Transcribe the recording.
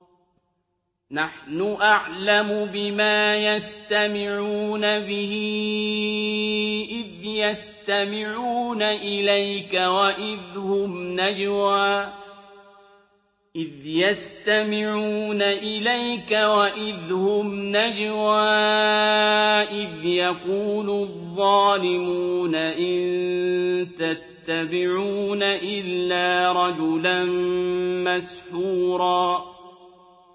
نَّحْنُ أَعْلَمُ بِمَا يَسْتَمِعُونَ بِهِ إِذْ يَسْتَمِعُونَ إِلَيْكَ وَإِذْ هُمْ نَجْوَىٰ إِذْ يَقُولُ الظَّالِمُونَ إِن تَتَّبِعُونَ إِلَّا رَجُلًا مَّسْحُورًا